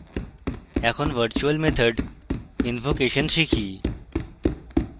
এখন virtual method invocation শিখি